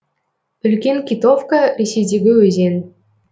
үлкен китовка ресейдегі өзен